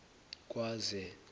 kwaze